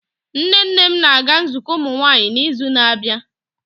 Nne nne m na-aga nzukọ ụmụnwaanyị n'izu na-abịa.